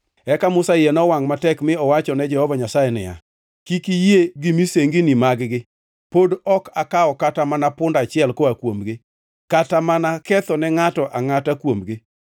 Eka Musa iye nowangʼ matek mi owachone Jehova Nyasaye niya, “Kik iyie gi misengini mag-gi. Pod ok akawo kata mana punda achiel koa kuomgi, kata mana kethone ngʼato angʼata kuomgi.”